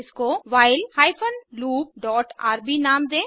इसको while hyphen loop dot RB नाम दें